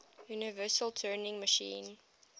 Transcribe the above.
universal turing machine